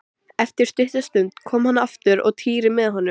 Eftir stutta stund kom hann aftur og Týri með honum.